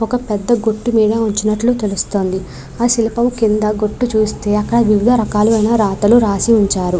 ఒక పెద్ద గుట్టు మీద వచ్చినట్లు తెలుస్తోంది. ఆ శిల్పం కింద గుట్టు చుస్తే అక్కడ వివిధ రకాలు అయిన రాతలు రాసి ఉంచారు.